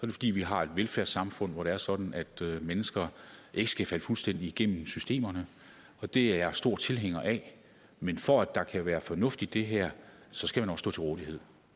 det fordi vi har et velfærdssamfund hvor det er sådan at mennesker ikke skal falde fuldstændig igennem systemerne og det er jeg stor tilhænger af men for at der kan være fornuft i det her så skal man også stå til rådighed